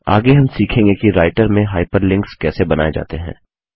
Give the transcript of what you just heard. आगे हम सीखेंगे कि राइटर में हाइपरलिंक्स कैसे बनाए जाते हैं